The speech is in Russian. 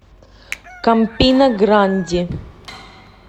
кампина гранди